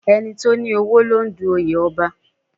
Ẹni tó ní owó ló ń du oyè Ọba